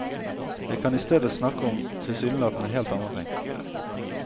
Jeg kan istedet snakke om tilsynelatende helt andre ting.